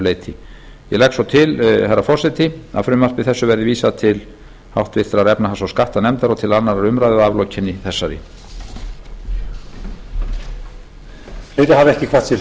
leyti ég legg svo til herra forseti að frumvarpi þessu verði vísað til háttvirtrar efnahags og skattanefndar og til annarrar umræðu að aflokinni þessari